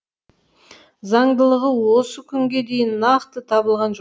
заңдылығы осы күнге дейін нақты табылған жоқ